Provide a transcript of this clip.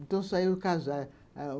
Então saiu casar.